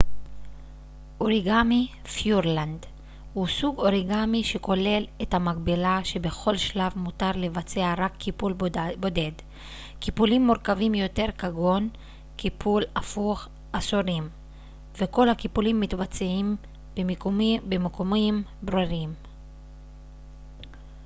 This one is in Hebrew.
אוריגמי פיורלנד הוא סוג אוריגמי שכולל את המגבלה שבכל שלב מותר לבצע רק קיפול בודד קיפולים מורכבים יותר כגון קיפול הפוך אסורים וכל הקיפולים מתבצעים במיקומים ברורים